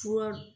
Fura